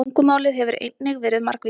Tungumálið hefur einnig verið margvíslegt.